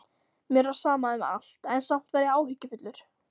Mér var sama um allt, en samt var ég áhyggjufullur.